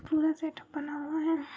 पूरा सेट बना हुआ है।